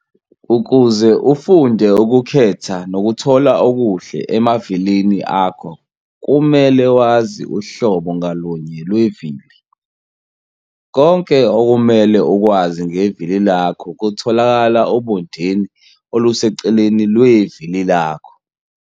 Ukuze ufunde ukukhetha nokuthola okuhle emavilini akho kumele wazi uhlobo ngalunye lwevili. Konke okumele ukwazi ngevili lakho kutholakala obondeni oluseceleni lwevili lakho.